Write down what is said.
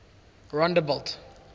rondebult